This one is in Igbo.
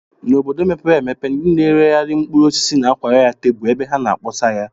N'obodo mepere emepe, ndị na-eregharị mkpụrụosisi na-akwara ya tebụl ebe ha na-akpọsa ya